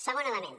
segon element